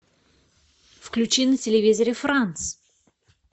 включи на телевизоре франс